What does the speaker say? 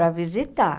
Para visitar.